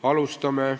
Alustame.